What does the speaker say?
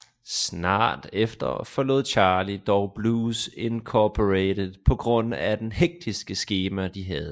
Snart efter forlod Charlie dog Blues Incorporated på grund af det hektiske skema de havde